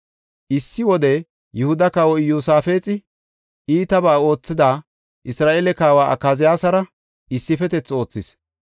Issi wode Yihuda kawoy Iyosaafexi iitabaa oothida Isra7eele kawa Akaziyaasara issifetethi oothis.